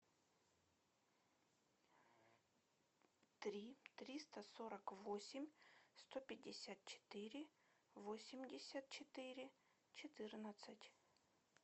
три триста сорок восемь сто пятьдесят четыре восемьдесят четыре четырнадцать